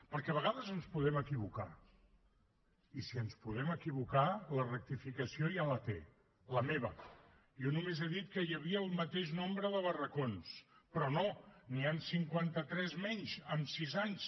perquè a vegades ens podem equivocar i si ens podem equivocar la rectificació ja la té la meva jo només he dit que hi havia el mateix nombre de barracons però no n’hi han cinquanta tres menys en sis anys